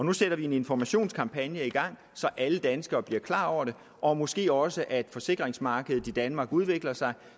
nu sætter vi en informationskampagne i gang så alle danskere bliver klar over det og måske også at forsikringsmarkedet i danmark udvikler sig